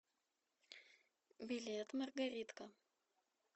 билет маргаритка